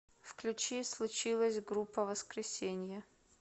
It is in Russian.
включи случилось группа воскресение